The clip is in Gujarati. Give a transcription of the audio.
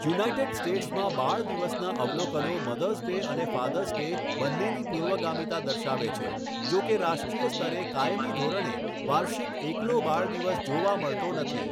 યુનાઇટેડ સ્ટેટ્સમાં બાળ દિવસનાં અવલોકનો મધર્સ ડે અને ફાધર્સ ડે બંનેની પૂર્વગામીતા દર્શાવે છે, જો કે રાષ્ટ્રીય સ્તરે કાયમી ધોરણે વાર્ષિક એકલો બાળ દિવસ જોવા મળતો નથી